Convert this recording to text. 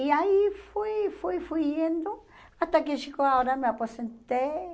E aí fui, fui, fui indo, até que chegou a hora me aposentei.